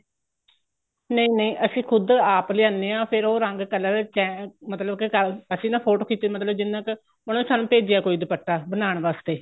ਨਹੀਂ ਨਹੀਂ ਅਸੀਂ ਖੁੱਦ ਆਪ ਲਿਆਣੇ ਆ ਫੇਰ ਉਹ ਰੰਗ color ਮਤਲਬ ਕੀ ਅਸੀਂ ਨਾ photo ਖਿੱਚ ਮਤਲਬ ਕੀ ਜਿੰਨਾ ਕ ਉਹਨੇ ਸਾਨੂੰ ਭੇਜਿਆ ਕੋਈ ਦੁਪੱਟਾ ਬਣਾਨ ਵਾਸਤੇ